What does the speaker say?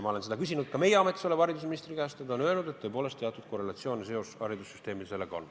Ma olen seda küsinud ka meie ametis oleva haridusministri käest ja ta on öelnud, et tõepoolest, teatud korrelatsiooniline seos seal on.